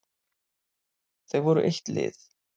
Þau voru eitt lið.